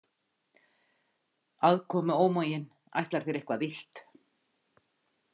Aðkomuómaginn ætlar þér eitthvað illt.